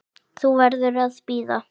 Þú verður að bíða.